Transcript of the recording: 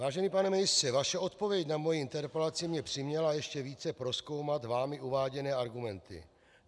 Vážený pane ministře, vaše odpověď na moji interpelaci mě přiměla ještě více prozkoumat vámi uváděné argumenty.